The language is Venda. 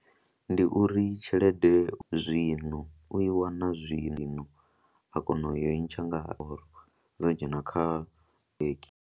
Ndi uri tshelede zwino u i wana zwino a kona u i ntsha nga or dzo dzhena kha bennge.